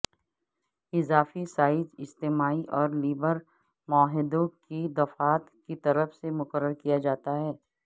اضافی سائز اجتماعی اور لیبر معاہدوں کی دفعات کی طرف سے مقرر کیا جاتا ہے